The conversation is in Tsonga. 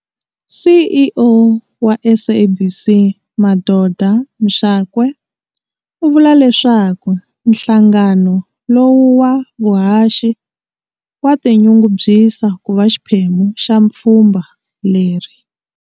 CEO wa SABC Madoda Mxakwe u vula leswaku nhlangano lowu wa vuhaxi wa tinyungubyisa ku va xiphemu xa pfhumba leri.